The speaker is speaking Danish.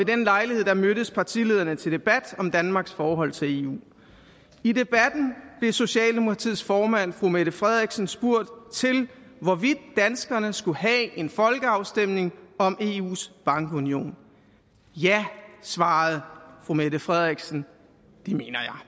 den lejlighed mødtes partilederne til debat om danmarks forhold til eu i debatten blev socialdemokratiets formand fru mette frederiksen spurgt om hvorvidt danskerne skulle have en folkeafstemning om eus bankunion ja svarede fru mette frederiksen det mener jeg